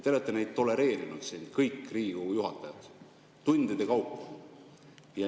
Te olete neid tolereerinud, kõik Riigikogu juhatajad, tundide kaupa.